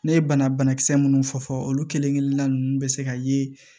Ne ye bana banakisɛ minnu fɔ fɔ olu kelenkelenna bɛ se ka ye